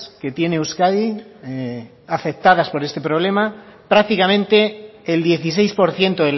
que tiene euskadi afectadas por este problema prácticamente el dieciséis por ciento